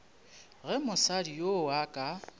ge mosadi yoo a ka